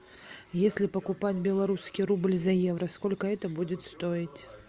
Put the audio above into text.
если покупать белорусский рубль за евро сколько это будет стоить